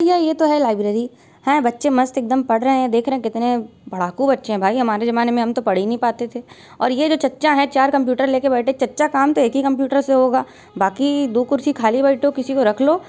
भैया ये तो है लाइब्रेरी हैं। बच्चे मस्त एकदम पढ़ रहे हैं देख रहे है कितने पढ़ाकू बच्चे हैं भाई हमारे ज़माने में तो हम पढ़ ही नहीं पाते थे और ये जो चच्चा है चार कंप्यूटर लेके बैठे चच्चा काम तो एक ही कंप्यूटर से होगा बाकि दु कुर्सी खाली बैठे हो किसी को रखलो।